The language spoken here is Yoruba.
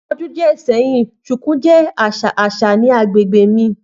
Ni ọdun diẹ sẹhin, shuku jẹ aṣa aṣa ni agbegbe mi.